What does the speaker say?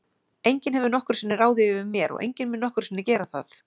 Enginn hefur nokkru sinni ráðið yfir mér og enginn mun nokkru sinni gera það.